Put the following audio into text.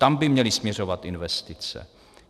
Tam by měly směřovat investice.